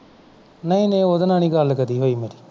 ਨਹੀਂ ਨਹੀਂ ਉਹਦੇ ਨਾਲ ਨਹੀਂ ਗੱਲ ਹੋਈ ਮੇਰੀ ਕਦੀ